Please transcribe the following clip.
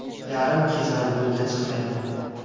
Yarim kechalab yo‘lga chiqmayman.